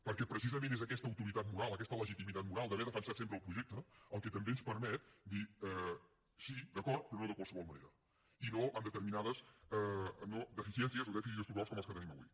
perquè precisament és aquesta autoritat moral aquesta legitimitat moral d’haver defensat sempre el projecte el que també ens permet dir sí d’acord però no de qualsevol manera i no amb determinades deficiències o dèficits estructurals com els que tenim avui